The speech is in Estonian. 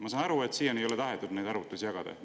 Ma saan aru, et siiani ei ole tahetud neid arvutusi jagada.